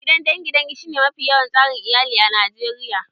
Gidan dangin dangi shi ne mafi yawan tsari iyali a Najeriya